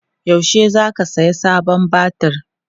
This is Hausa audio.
yaushe zaka saya sabon batir?